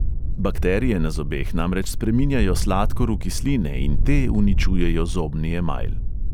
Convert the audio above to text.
Bakterije na zobeh namreč spreminjajo sladkor v kisline in te uničujejo zobni emajl.